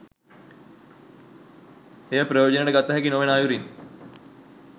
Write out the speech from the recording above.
එය ප්‍රයෝජනයට ගතහැකි නොවන අයුරින්